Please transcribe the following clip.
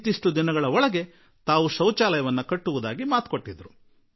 ಮಕ್ಕಳ ಪತ್ರದಿಂದ ಎಂತಹ ಪ್ರಭಾವವಾಯಿತು ಎಂತಹ ಭಾವನಾತ್ಮಕ ಪ್ರಭಾವ ಬೀರಿತು